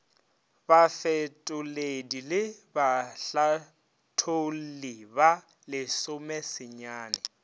bafetoledi le bahlatholli ba lesomesenyane